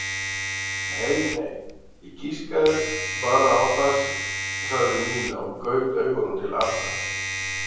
Nei nei, ég giskaði bara á það sagði Nína og gaut augunum til Arnar.